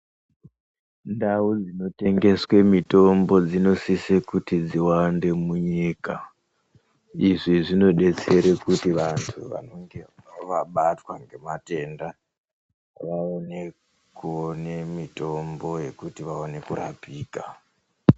Ndau rzinotengeswe mutombo dzinosiswe kuti dziwande munyika izvi zvinodetsere kuti vantu vanenge vabatwe nematenda vaende koone mutombo yekurapika.